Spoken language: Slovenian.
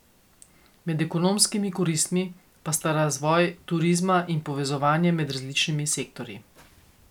Med ekonomskimi koristmi pa sta razvoj turizma in povezovanje med različnimi sektorji.